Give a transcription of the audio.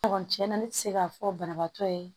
Kɔni tiɲɛ na ne tɛ se k'a fɔ banabaatɔ ye